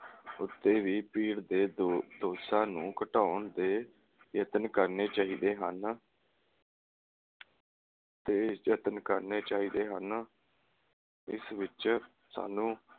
ਉਤੇ ਵੀ ਭੀੜ ਦੇ ਦੋ ਦੋਸ਼ਾਂ ਨੂੰ ਘਟਾਉਣ ਦੇ ਯਤਨ ਕਰਨੇ ਚਾਹੀਦੇ ਹਨ ਤੇ ਯਤਨ ਕਰਨੇ ਚਾਹੀਦੇ ਹਨ ਇਸ ਵਿਚ ਸਾਨੂੰ